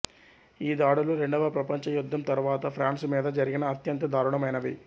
ఈ దాడులు రెండవ ప్రపంచ యుద్ధం తరువాత ఫ్రాన్సు మీద జరిగిన అత్యంత దారుణమైనవి